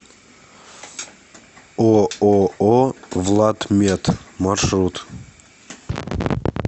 ооо владмед маршрут